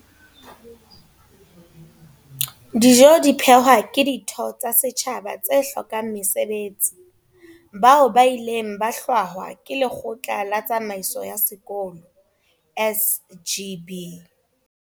Dijo di phehwa ke ditho tsa setjhaba tse hlokang mesebetsi, bao ba ileng ba hlwahwa ke lekgotla la tsamaiso ya sekolo SGB.